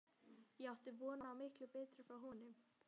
Ég átti von á miklu betra frá honum.